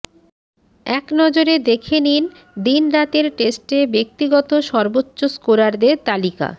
একনজরে দেখে নিন দিন রাতের টেস্টে ব্যক্তিগত সর্বোচ্চ স্কোরারদের তালিকা